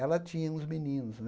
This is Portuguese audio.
Ela tinha uns meninos.